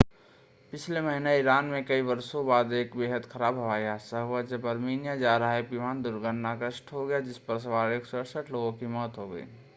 पिछले महीने ईरान में कई वर्षो बाद एक बेहद खराब हवाई हादसा हुआ जब आर्मीनिया जा रहा एक विमान दुर्घटनाग्रस्त हो गया था जिस पर सवार 168 लोगों की मौत हो गयी